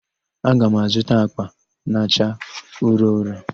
Aga m azụta àkpà na-acha ụrọ ụrọ.